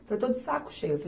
Que eu estou de saco cheio.